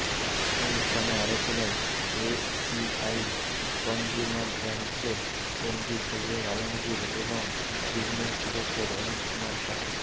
অনুষ্ঠানে আরো ছিলেন এসিআই কনজ্যুমার ব্র্যান্ডসের এমডি সৈয়দ আলমগীর এবং বিজনেস ডিরেক্টর অনুপ কুমার সাহা